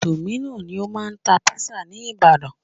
Dominos ni o máà ń tá pizza ní ìbàdàn.